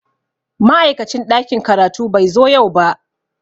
Ma'aikacin ɗakin karatu bai zo yau ba.